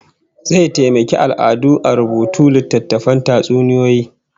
Zai taimaki al'adu a rubuta littatttafan tatsuniyoyi